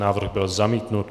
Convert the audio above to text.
Návrh byl zamítnut.